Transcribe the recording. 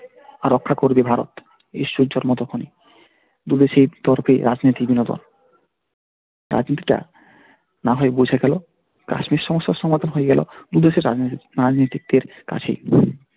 রক্ষা করবে ভারত দু দেশেই তর্কে বিনোদন রাজনীতি না হয় বোঝা গেল কাশ্মীর সমস্যার সমাধান হয়ে গেলো তো দেশের রাজনীতিক দের কাছেই।